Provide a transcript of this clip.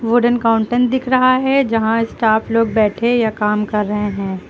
Wooden counter दिख रहा है यहां स्टाफ लोग बैठे या काम कर रहे हैं।